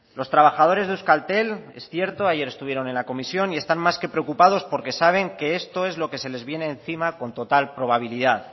los trabajadores de euskaltel es cierto ayer estuvieron en la comisión y están más que preocupados porque saben que esto es lo que se les viene encima con total probabilidad